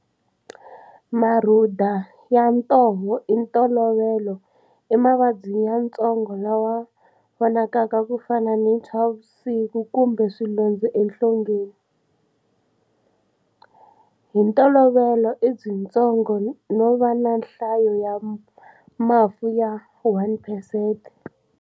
Marhuda ya ntoho hi ntolovelo i mavabyi yatsongo lama vonakaka ku fana ni ntshwavusiku kumbe swilondza enhlongeni. Hi ntolovelo i byitsongo no va na nhlayo ya mafu ya 1 percent.